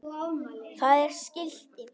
Það er skilti.